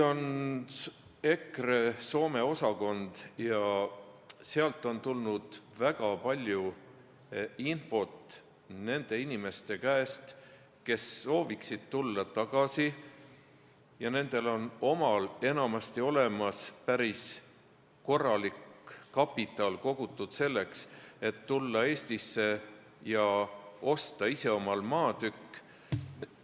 EKRE Soome osakonnale on tulnud väga palju infot nende inimeste käest, kes sooviksid tulla tagasi, ja nendel on omal enamasti olemas päris korralik kapital, kogutud selleks, et tulla Eestisse ja osta ise omale maatükk.